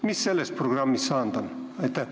Mis sellest programmist saanud on?